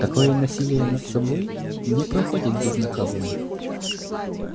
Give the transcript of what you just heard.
такое насилие над собой не проходит безнаказанно